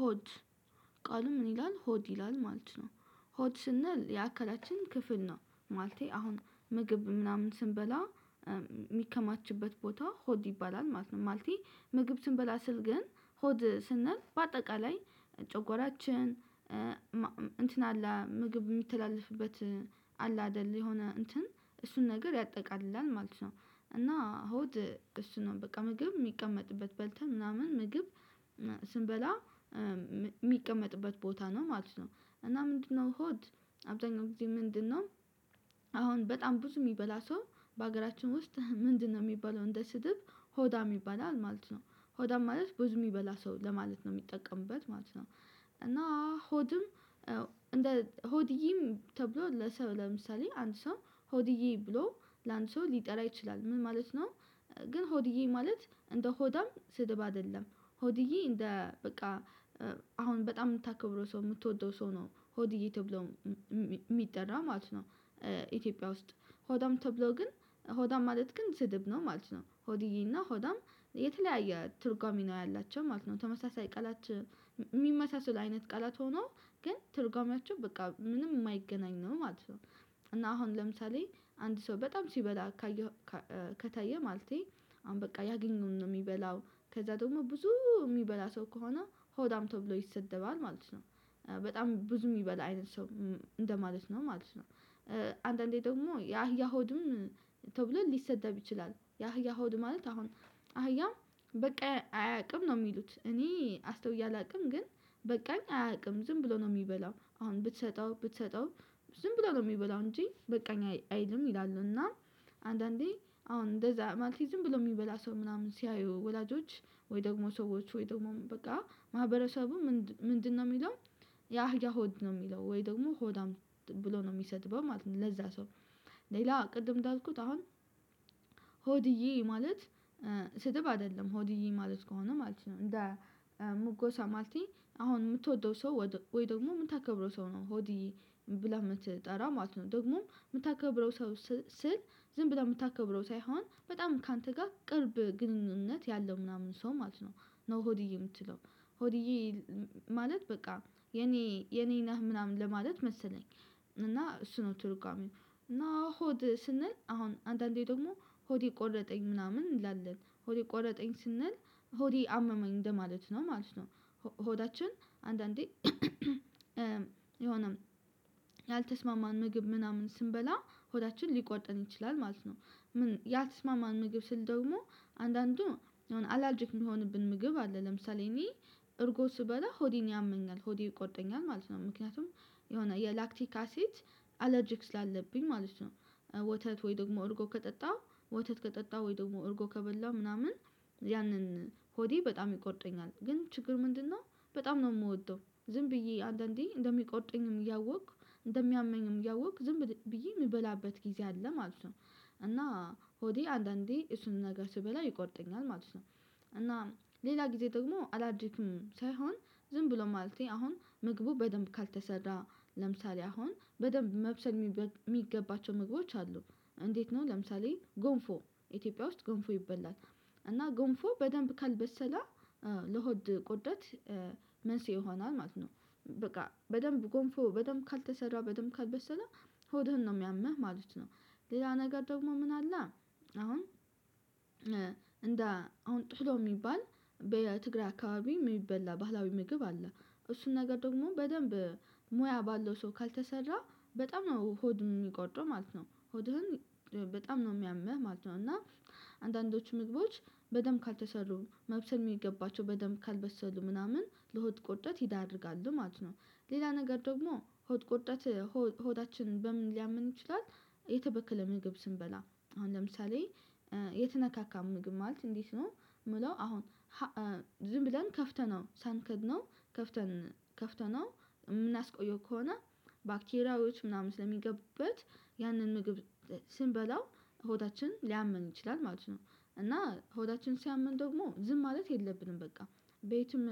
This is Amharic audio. ሆድ ቃሉ ምን ይላል? ሆድ ይላል ማለት ነው። ሆድ ስንል የአካላችን ክፍል ነው ማለቴ አሁን ምግብ ምናምን ስንበላ የሚከማችበት ቦታ ሆድ ይባላል ማለት ነው። ማለቴ ምግብ ስንበላ ስል ግን ሆድ ስንል በአጠቃላይ ጨጎራችን እንትን አለ ምግብ የሚተላለፍበት አለ አይደል የሆነ እንትን እሱን ነገር ያጠቃልላል ማለት ነው። እና ሆድ እሱ ነው በቃ ምግብ የሚቀመጥበት በልተን ምናምን ምግብ ስንበላ የሚቀመጥበት ቦታ ነው ማለት ነው። እና ምንድነው? ሆድ አብዛኛው ጊዜ ምንድነው? አሁን በጣም ብዙ የሚበላ ሰው በሀገራችን ውስጥ ምንድነው? የሚባለው እንደ ስድብ ሆዳም የሚባለው ማለት ነው ሆዳም ማለት ብዙ የሚበላ ሰው ለማለት ነው የሚጠቀምበት ማለት ነው። እና ሆድም እንደ ሆድዬም ተብሎ ለሰው ለምሳሌ አንድ ሰው ሆድዬ ብሎ ለአንድ ሰው ሊጠራ ይችላል ምን ማለት ነው። ግን ሆድዬ ማለት እንደ ሆዳም ስድብ አይደለም። ሆድዬ እንደ በቃ አሁን በጣም የምታከብረው ሰው የምትወደው ሰው ነው ሆድዬ ተብሎ የሚጠራ ማለት ነው። ኢትዮጵያ ውስጥ ሆዳም ተብሎ ግን ሆዳም ማለት ግን ዝድብ ነው ማለት ነው ሆድዬና ሆዳም የተለያየ ትርጓሜ ነው ያላቸው ማለት ነው። ተመሳሳይ ቀላት የሚመሳሰል አይነት ቃላት ሆኖ ግን ትርጓሜያቸው በቃ ምንም የማይገናኝ ነው ማለት ነው። እና አሁን ለምሳሌ አንድ ሰው በጣም ሲበላ ካየህ ከታየ ማለቴ አሁን በቃ ያገኘውን ነው የሚበላው ከዛ ደግሞ ብዙ የሚበላ ሰው ከሆነ ሆዳም ተብሎ ይሰደባል ማለት ነው። በጣም ብዙ የሚበላ አይነት ሰው እንደማለት ነው ማለት ነው። አንዳንዴ ደግሞ የአህያ ሆድም ተብሎ ሊሰደብ ይችላል። የአህያ ሆድ ማለት አሁን አህያ በቃ አያውቅም ነው የሚሉት እኔ አስተውዬ አላውቅም ግን። በቃኝ አያውቅም ዝም ብሎ ነው የሚበላው አሁን ብትሰጠው ብትሰጠው ዝም ብሎ ነው የሚበላው እንጂ በቃኝ አይልም ይላሉና። አንዳንዴ አሁን እንደዛ ማለቴ ዝምብሎ የሚበላ ሰው ምናምን ሲያዩ ወላጆች ወይ ደግሞ ሰዎች ወይ ደግሞ በቃ ማህበረሰቡ ምንድነው የሚለው? የአህያ ሆድ ነው የሚለው ወይ ደግሞ ሆዳም ብሎ ነው የሚሰድበው ማለት ነው። ለዛ ሰው ሌላ ቅድም እንዳልኩት አሁን ሆድዬ ማለት ስድብ አይደለም። ሆድዬ ማለት ከሆነ ማለት ነው እንደ ሙጎሳ ማለቴ አሁን የምትወደው ሰው ወይ ደግሞ የምታከብረው ሰው ነው ሆድዬ ብለህ የምትጠራ ማለት ነው። ደግሞም የምታከብረው ሰው ስል ዝም ብለህ የምታከብረው ሳይሆን በጣም ካንተ ጋር ቅርብ ግንኙነት ያለው ምናምን ሰው ማለት ነው። ኖ ሆድዬ የምትለው ሆድዬ ማለት በቃ የኔ የኔ ነህ ምናምን ለማለት መሰለኝ። እና እሱ ነው ትርጉሜው እና ሆድ ስንል አሁን አንዳንዴ ደግሞ ሆዴ ቆረጠኝ ምናምን እንላለን ሆዴ ቆረጠኝ ስንል ሆዴ አመመኝ እንደማለት ነው ማለት ነው። ሆዳችን አንዳንዴ የሆነ ያልተስማማን ምግብ ምናምን ስንበላ ሆዳችን ሊቆርጠን ይችላል ማለት ነው። ያልተስማማን ምግብ ስል ደግሞ አንዳንዱ አላርጅክ የሚሆንብን ምግብ አለ። ለምሳሌ እኔ እርጎ ስበላ ሆዴን ያመኛል ሆዴ ይቆርጠኛል ማለት ነው። ምክንያቱም የሆነ የላክቲክ አሲድ አለርጂክ ስላለብኝ ማለት ነው። ወተት ወይ ደግሞ እርጎ ከጠጣ ወተት ከጠጣ ወይ ደግሞ እርጎ ከበላ ምናምን ያንን ሆዴ በጣም ይቆርጠኛል ግን ችግር ምንድነው? በጣም ነው የምወደው ዝም ብዬ አንዳንዴ እንደሚቆርጠኝም እያወኩ እንደሚያመኝም እያወኩ ዝም ብዬ የምበላበት ጊዜ አለ ማለት ነው። እና ሆዴ አንዳንዴ እሱን ነገር ስበላ ይቆርጠኛል ማለት ነው። እና ሌላ ጊዜ ደግሞ አላድርግም ሳይሆን ዝም ብሎ ማለቴ አሁን ምግቡ በደንብ ካልተሰራ ለምሳሌ አሁን በደንብ መብሰል የሚገባቸው ምግቦች አሉ። እንዴት? ነው ለምሳሌ ጎንፎ ኢትዮጵያ ውስጥ ጎንፎ ይበላል። እና ጎንፎ በደንብ ካልበሰለ ለሆድ ቆርጠት መንስኤ ይሆናል ማለት ነው። በቃ በደንብ ጎንፎ በደንብ ካልተሰራ በደንብ ካልበሰለ ሆድህን ነው የሚያመህ ማለት ነው። ሌላ ነገር ደግሞ ምን አለ? አሁን እንደ አሁን ቶሎ የሚባል በትግራይ አካባቢ የሚበላ ባህላዊ ምግብ አለ እሱን ነገር ደግሞ በደንብ ሙያ ባለው ሰው ካልተሰራ በጣም ነው ሆድ የሚቆርጠው ማለት ነው ሆድህን በጣም ነው የሚያምህ ማለት ነው። እና አንዳንዶቹ ምግቦች በደንብ ካልተሰሩ መብሰል የሚገባቸው በደንብ ካልበሰሉ ምናምን ለሆድ ቁርጠት ይዳርጋል ማለት ነው። ሌላ ነገር ደግሞ ሆድ ቁርጠት ሆዳችን በምን ሊያምን ይችላል? የተበከለ ምግብ ስንበላ አሁን ለምሳሌ የተነካካ ምግብ ማለት እንዴት ነው የምለው? አሁን ዝም ብለን ከፍተነው ሳንከድነው ከፍተን ከፍተነው የምናስቆየው ከሆነ ባክቴሪያዎች ምናምን ስለሚገቡበት ያንን ምግብ ስንበላው ሆዳችን ሊያመን ይችላል ማለት ነው። እና ሆዳችን ሲያመን ደግሞ ዝም ማለት የለብንም። በቃ ቤትም